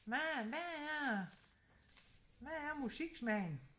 Hvad hvad er hvad er musiksmagen